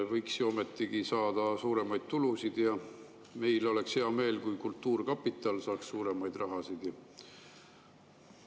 Võiks ju ometigi saada suuremaid tulusid ja meil oleks hea meel, kui kultuurkapital saaks suurema.